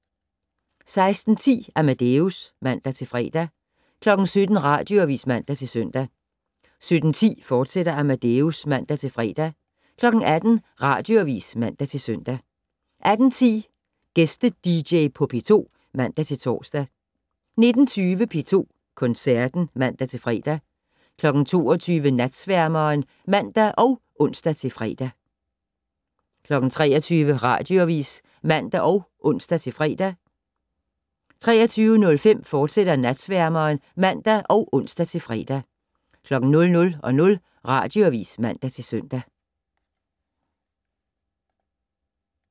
16:10: Amadeus (man-fre) 17:00: Radioavis (man-søn) 17:10: Amadeus, fortsat (man-fre) 18:00: Radioavis (man-søn) 18:10: Gæste-dj på P2 (man-tor) 19:20: P2 Koncerten (man-fre) 22:00: Natsværmeren (man og ons-fre) 23:00: Radioavis (man og ons-fre) 23:05: Natsværmeren, fortsat (man og ons-fre) 00:00: Radioavis (man-søn)